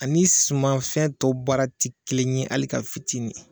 Ani sumanfɛn tɔw baara ti kelen ye hali ka fitini